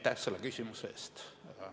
Aitäh selle küsimuse eest!